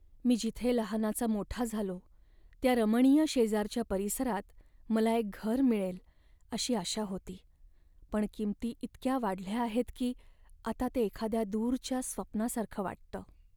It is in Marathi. मी जिथे लहानाचा मोठा झालो त्या रमणीय शेजारच्या परिसरात मला एक घर मिळेल अशी आशा होती, पण किंमती इतक्या वाढल्या आहेत की आता ते एखाद्या दूरच्या स्वप्नासारखं वाटतं.